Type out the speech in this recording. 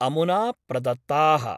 अमुना प्रदत्ता:।